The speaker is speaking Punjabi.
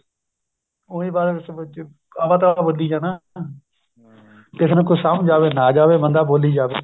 ਉਹੀ ਬੱਸ ਅਵਾ ਤਵਾ ਬੋਲੀ ਜਾਣਾ ਕਿਸੇ ਨੂੰ ਕੁੱਝ ਸਮਝ ਆਵੇ ਨਾਂ ਜਾਵੇ ਬੰਦਾ ਬੋਲੀ ਜਾਵੇ